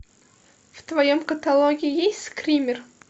в твоем каталоге есть скример